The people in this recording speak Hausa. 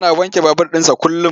Yana wanke babur ɗinsa kullum.